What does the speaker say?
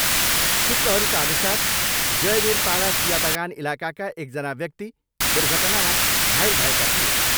सूत्रहरूका अनुसार जयबिरपाडा चियाबगान इलाकाका एकजना व्यक्ति दुर्घटनामा घायल भएका थिए।